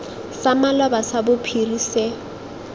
sa maloba sa bophiri se